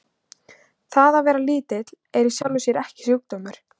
Það að vera lítill er í sjálfu sér ekki sjúkdómur.